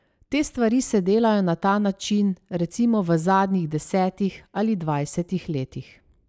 Te stvari se delajo na ta način recimo v zadnjih desetih ali dvajsetih letih.